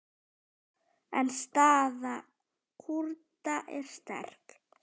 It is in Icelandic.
En staða Kúrda er sterk.